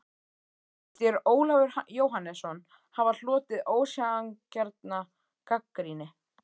Finnst þér Ólafur Jóhannesson hafa hlotið ósanngjarna gagnrýni?